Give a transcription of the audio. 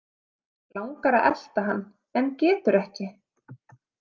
Langar að elta hann en getur ekki.